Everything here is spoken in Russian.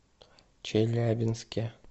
челябинске